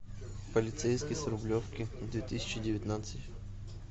полицейский с рублевки две тысячи девятнадцать